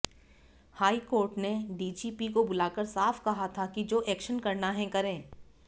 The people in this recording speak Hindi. हाईकोर्ट ने डीजीपी को बुलाकर साफ कहा था कि जो एक्शन करना है करें